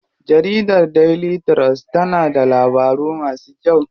Jarida Daily trust na da labaru masu kyau.